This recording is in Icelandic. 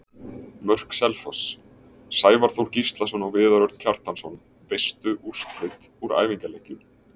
Mörk Selfoss: Sævar Þór Gíslason og Viðar Örn Kjartansson Veistu úrslit úr æfingaleikjum?